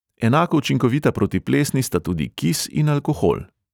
Enako učinkovita proti plesni sta tudi kis in alkohol.